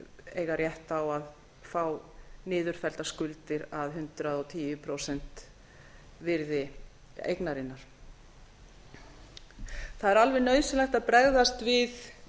eiga rétt á að fá niðurfelldar skuldir af hundrað og tíu prósent virði eignarinnar það er alveg nauðsynlegt að bregðast við